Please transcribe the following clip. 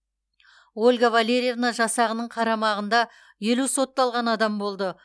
ольга валерьевна жасағының қарамағында елу сотталған адам болды